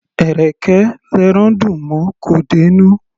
Ẹ̀rẹ̀kẹ́ l'ẹran dùn mọ; kò dé'nú.